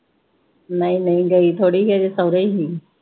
ਨਈ ਨਈ, ਗਈ ਥੋੜੀ ਹਜੇ ਸਹੁਰੇ ਹੀ।